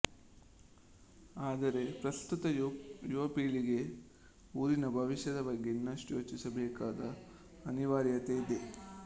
ಆದರೆ ಪ್ರಸ್ತುತ ಯುವಪೀಳಿಗೆ ಊರಿನ ಭವಿಷ್ಯದ ಬಗ್ಗೆ ಇನಷ್ಟು ಯೋಚಿಸಬೇಕಾದ ಅನಿವಾರ್ಯತೆ ಇದೆ